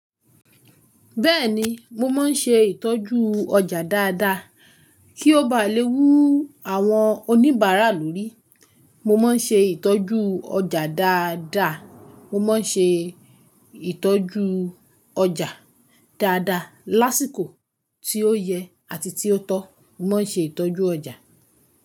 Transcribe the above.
Bẹ́ẹ̀ni, mo máa ń ṣe ìtọ́jú ọjà dáadáa kí ó bá lè wú àwọn oníbàárà lórí. Mo máa ń ṣe ìtọ́jú ọjà dáadáa. Mo máa ń ṣe ìtọ́jú ọjà dáadáa. Lásìkò tí ó yẹ àti tí ó tọ́, mo máa ń ṣe ìtọ́jú ọjà.